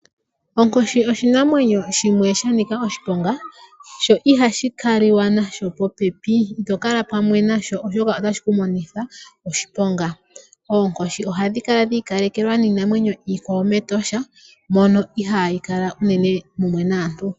Onkoshi oshinamwenyo shimwe sha nika oshiponga, sho ihashi ka li wa nasho popepi. Ito kala pamwe nasho oshoka ota shi ku monitha oshiponga. Oonkoshi ohadhi kala dhi ikalekelwa niinamwenyo iikwawo mEtosha, mono ihaayi kala unene mumwe naantu.